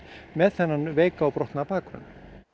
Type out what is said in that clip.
með þennan veika og brotna bakgrunn